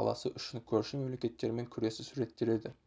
қаласы үшін көрші мемлекеттермен күресі суреттеледі